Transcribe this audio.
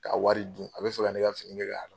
Ka wari dun, a bɛ fɛ ka ne ka fini kɛ k'a